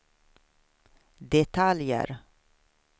detaljer